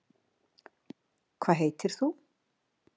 Hvað heitir þú?